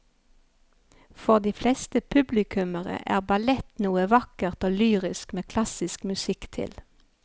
For de fleste publikummere er ballett noe vakkert og lyrisk med klassisk musikk til.